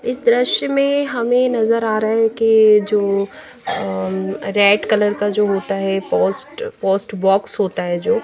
इस दृश्य में हमें नज़र आ रहा है के जो अम्म रेड कलर का जो होता है पोस्ट पोस्ट बॉक्स होता है जो--